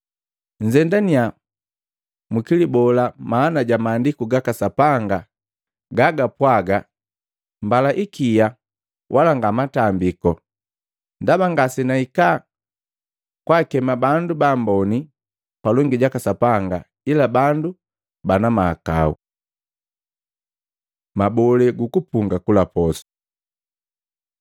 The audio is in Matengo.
Nzendaniya mukilibola maana ja Maandiku gaka Sapanga gaga pwaga, ‘Mbala ikia wala nga matambiku.’ Ndaba ngasenahika kwaakema bandu baamboni palongi jaka Sapanga ila bandu bana mahakau.” Mabolee guku punga kula posu Maluko 2:18-22; Luka 5:33-39